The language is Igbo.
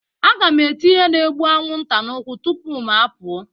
Aga m ete ihe na-egbu anwụnta n'ụkwụ m tupu m apụọ